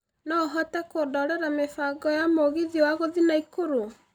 no ũhote kũndorera mĩbango ya Mũgithi wa gũthiĩ naikuru